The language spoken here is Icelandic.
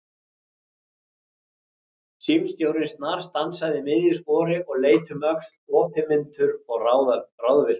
Símstjórinn snarstansaði í miðju spori og leit um öxl, opinmynntur og ráðvilltur.